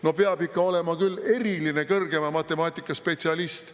No peab ikka olema küll eriline kõrgema matemaatika spetsialist.